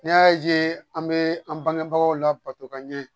N'i y'a ye an bɛ an bangebagaw labato ka ɲɛ